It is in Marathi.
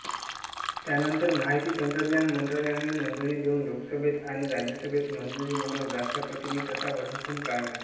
त्यानंतर माहिती तंत्रज्ञान मंत्रालयाने मंजुरी देऊन लोकसभेत आणि राज्यसभेत मंजुरी मिळवून राष्ट्रपतींनी तसा वटहुकूम काढला